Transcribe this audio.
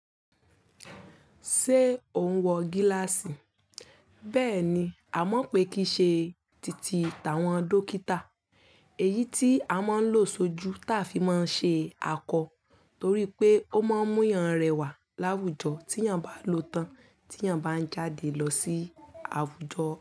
Ṣé o ń wọ gíláàsì? Bẹ́ẹ̀ ni, a mọ̀ pé kí í ṣe titi àwọn dókítà. Èyí tí a máa ń lò sójú ta fi máa ń ṣe akọ, torí pé ó máa ń mú yan rẹwà láwùjọ tí yàn bá lòó tán tí yàn bá ń jáde lọ sí àwùjọ.